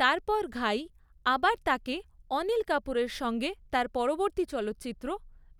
তারপর ঘাই আবার তাকে অনিল কাপুরের সঙ্গে তার পরবর্তী চলচ্চিত্র